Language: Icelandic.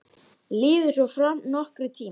Liðu svo fram nokkrir tímar.